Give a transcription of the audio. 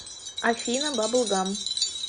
афина бабл гам